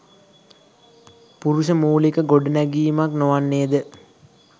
පුරුෂ මූලික ගොඩනැඟීමක් නොවන්නේද?